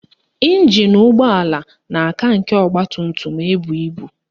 Ịnjin ụgbọala na-aka nke ọgbatumtum ebu ibu